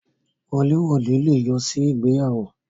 Wọlé wode le yọ sí ìgbéyàwó.